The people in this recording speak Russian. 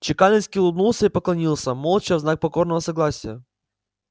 чекалинский улыбнулся и поклонился молча в знак покорного согласия